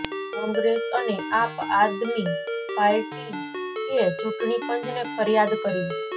કોંગ્રેસ અને આપ આદમી પાર્ટીએ ચૂંટણી પંચને ફરિયાદ કરી